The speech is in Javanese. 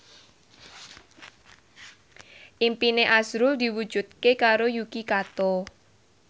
impine azrul diwujudke karo Yuki Kato